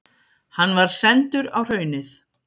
Hann var sendur á Hraunið.